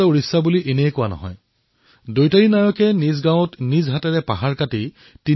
পুনৰবাৰ এনে এজন মহান নেতাৰ প্ৰতি মই নিজৰ শ্ৰদ্ধাঞ্জলি জ্ঞাপন কৰিছো